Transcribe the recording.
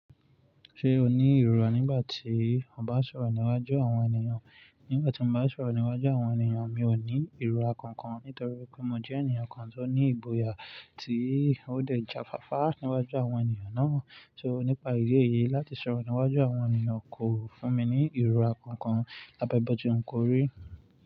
Ṣé o ní ìrùrà nígbà tí o bá ń sọ̀rọ̀ níwájú àwọn ènìyàn? Nígbà tí mo bá ń sọ̀rọ̀ níwájú àwọn ènìyàn, mi ò ní ìrùrà kankan nítorí pé mo jẹ́ ènìyàn kan tó ní ìgbòyà tí ó dẹ̀ jáfáfá níwájú àwọn ènìyàn náà. So nípa ìdí èyí, láti sọ̀rọ̀ níwájú àwọn ènìyàn kò fún mi ní ìrùrà kankan, lábẹ́ bọ́ tí n kò rí.